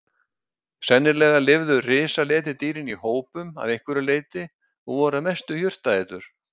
Sennilega lifðu risaletidýrin í hópum að einhverju leyti og voru að mestu jurtaætur.